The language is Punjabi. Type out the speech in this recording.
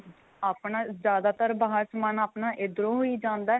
ਆਪਣਾ ਜਿਆਦਾਤਰ ਬਾਹਰ ਸਮਾਨ ਆਪਣਾ ਇੱਧਰੋ ਹੀ ਜਾਂਦਾ